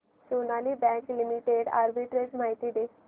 Sonali bank limited arbitrage माहिती दे